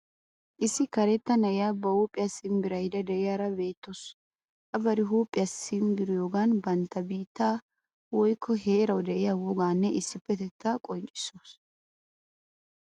Issi karetta na'iya ba huuphiya simbbirayidda de'iyaara beettawus. A bari huuphiya simbbiriyogaan bantta biittawu woyikko heerawu de'iya wogaanne issipetetta qonccissawuus.